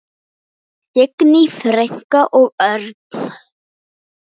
Signý frænka og Örn.